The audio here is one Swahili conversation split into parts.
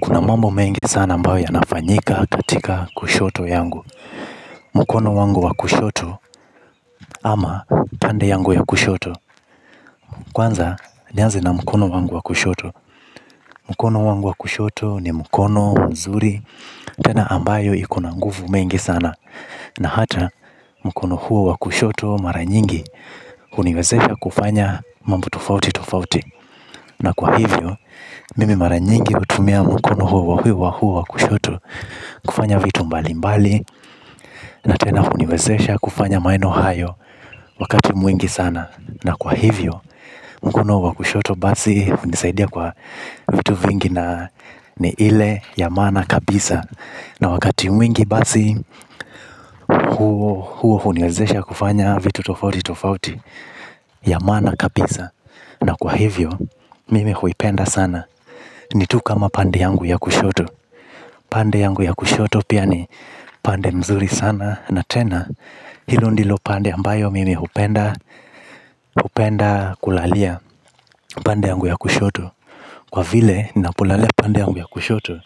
Kuna mambo mengi sana ambayo yanafanyika katika kushoto yangu. Mkono wangu wa kushoto ama pande yangu ya kushoto kwanza nianze na mkono wangu wa kushoto mkono wangu wa kushoto ni mkono mzuri. Tena ambayo iko na nguvu mengi sana na hata mkono huo wa kushoto mara nyingi huniwezesha kufanya mambo tofauti tofauti na kwa hivyo mimi mara nyingi hutumia mkono huo wa kushoto. Kufanya vitu mbali mbali na tena huniwezesha kufanya maneno hayo wakati mwingi sana. Na kwa hivyo mkono wa kushoto basi hunisaidia kwa vitu vingi na ni ile ya maana kabisa. Na wakati mwingi basi huo huniwezesha kufanya vitu tofauti tofauti ya maana kabisa na kwa hivyo mimi huipenda sana ni tu kama pande yangu ya kushoto. Pande yangu ya kushoto pia ni pande mzuri sana na tena hilo ndilo pande ambayo mimi hupenda hupenda kulalia pande yangu ya kushoto kwa vile ninapolalia pande yangu ya kushoto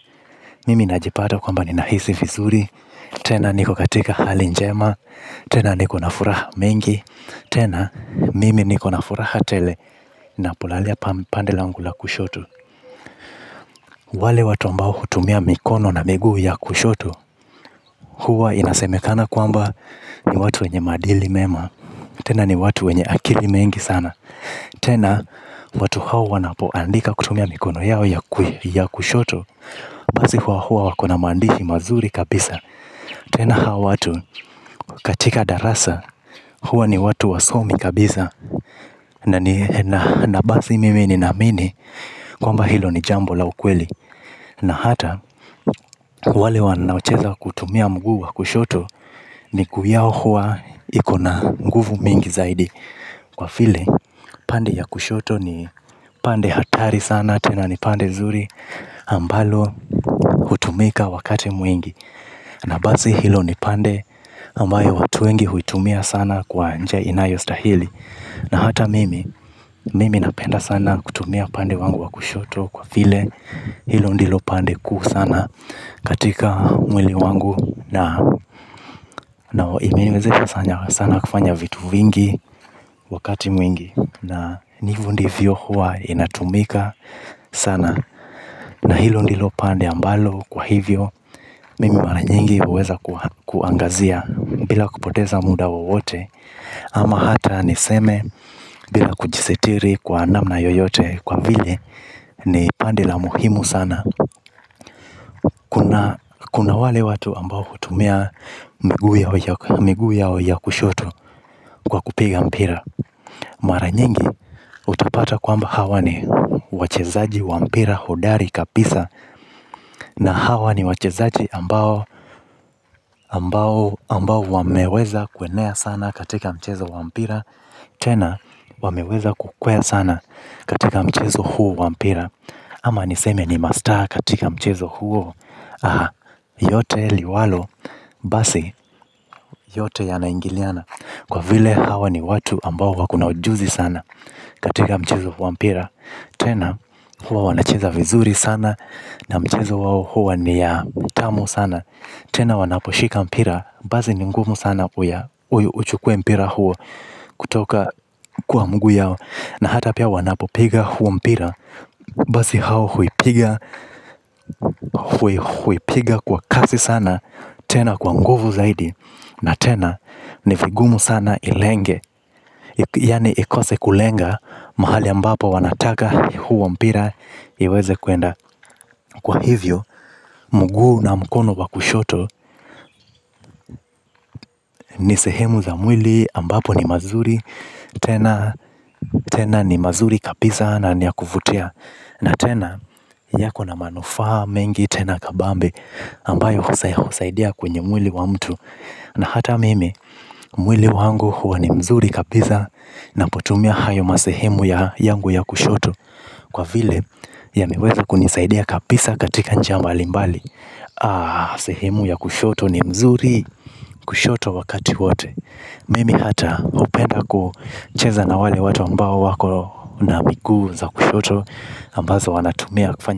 mimi najipata kwamba ni nahisi vizuri tena niko katika hali njema tena niko na furaha mingi tena mimi niko na furaha tele nanapolalia pande yangu ya kushoto wale watu ambao hutumia miguu na mikono ya kushoto huwa inasemekana kwamba ni watu wenye maadili mema. Tena ni watu wenye akili mengi sana. Tena watu hao wanapoandika kutumia mikono yao ya kushoto basi huwa huwa wako na maandishi mazuri kabisa. Tena hao watu katika darasa huwa ni watu wasomi kabisa. Na basi mimi ninaamini kwamba hilo ni jambo la ukweli. Na hata wale wanaocheza kutumia mguu wa kushoto miguu yao huwa iko na nguvu mingi zaidi. Kwa file pande ya kushoto ni pande hatari sana tena ni pande zuri ambalo hutumika wakati mwingi. Na basi hilo ni pande ambayo watu wengi huitumia sana kwa njia inayostahili. Na hata mimi, mimi napenda sana kutumia pande wangu wa kushoto kwa vile hilo ndilo pande kuu sana katika mwili wangu na imeweza sana kufanya vitu vingi wakati mwingi na ni hivo ndivyo huwa inatumika sana na hilo ndilo pande ambalo kwa hivyo mimi mara nyingi huweza kuangazia bila kupoteza muda wowote. Ama hata niseme bila kujisitiri kwa namna yoyote kwa vile ni pande la muhimu sana. Kuna wale watu ambao hutumia miguu yao ya kushoto kwa kupiga mpira. Mara nyingi utapata kwamba hawa ni wachezaji wa mpira hidari kabisa. Na hawa ni wachezaji ambao wameweza kuenea sana katika mchezo wa mpira. Tena wameweza kukwea sana katika mchezo huo wa mpira. Ama niseme ni masta katika mchezo huo. Yote liwalo basi yote ya naingiliana. Kwa vile hawa ni watu ambao wako na ujuzi sana katika mchezo huo wa mpira. Tena huwa wanacheza vizuri sana na mchezo wao huwa ni ya utamu sana. Tena wanaposhika mpira basi ni ngumu sana uya uchukue mpira huo. Kutoka kwa mguu yao na hata pia wanapopiga huo mpira basi hao huipiga. Huipiga kwa kasi sana. Tena kwa nguvu zaidi. Na tena ni vigumu sana ilenge, yaani ikose kulenga mahali ambapo wanataka hiyo mpira iweze kuenda kwa hivyo mguu na mkono wa kushoto ni sehemu za mwili ambapo ni mazuri. Tena ni mazuri kabisa. Na ni ya kuvutia na tena yako na manufaa mengi tena kabambe ambayo husaidia kwenye mwili wa mtu. Na hata mimi mwili wangu huwa ni mzuri kabisa. Ninapotumia hayo masehemu ya yangu ya kushoto. Kwa vile ya yameweza kunisaidia kabisa katika njia mbali mbali. Ah, sehemu ya kushoto ni mzuri kushoto wakati wote mimi hata hupenda kucheza na watu ambao wako na miguu za kushoyo ambazo wanatumia kufanya.